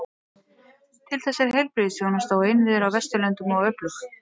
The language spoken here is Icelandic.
Til þess er heilbrigðisþjónusta og innviðir á Vesturlöndum of öflug.